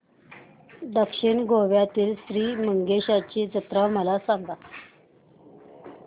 दक्षिण गोव्यातील श्री मंगेशाची जत्रा मला सांग